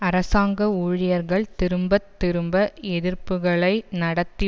அரசாங்க ஊழியர்கள் திரும்ப திரும்ப எதிர்ப்புக்களை நடத்தி